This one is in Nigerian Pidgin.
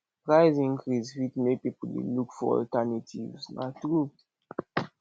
price increase fit make pipo dey look for alternatives na true